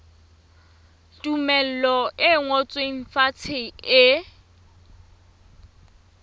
tumello e ngotsweng fatshe e